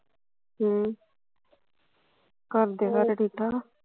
ਹਮ ਘਰਦੇ ਸਾਰੇ ਠੀਕ ਠਾਕ ਆ